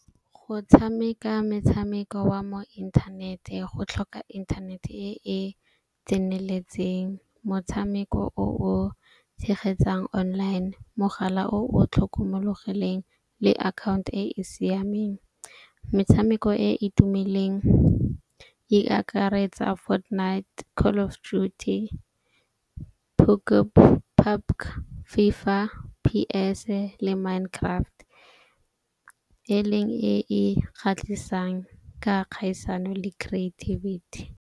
Go tshameka metshameko wa mo inthanete go tlhoka internet e e tseneletseng. Motshameko o o tshegetsang online, mogala o o tlhokomologileng le account e e siameng. Metshameko e e tumileng e akaretsa Fortnite, Call of duty, , FIFA, PS le Minecraft e leng e e kgatlhisang ka kgaisano le creativity.